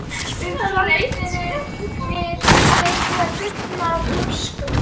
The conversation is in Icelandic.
Í Lídó var Hilmar Helgason annar eigandinn, ágætur kunningi minn.